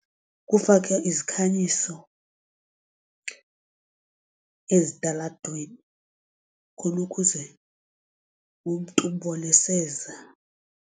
Kufakwe izikhanyiso ezitalatweni khonukuze umntu umbone eseza.